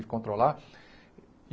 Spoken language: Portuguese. De controlar.